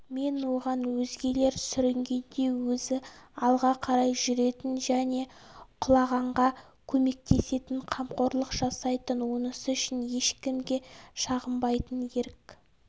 мен оған өзгелер сүрінгенде өзі алға қарай жүретін және құлағанға көмектесетін қамқорлық жасайтын онысы үшін ешкімге шағынбайтын ерік